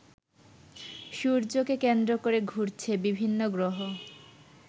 সূর্যকে কেন্দ্র করে ঘুরছে বিভিন্ন গ্রহ।